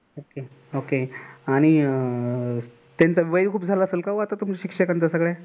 okay आणि त्यांच्या वय खूप झाल असेल का हो तुमच्या शिक्षकांचं सगळ्या.